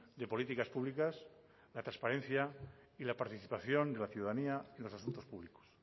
de políticas públicas la transparencia y la participación de la ciudadanía en los asuntos públicos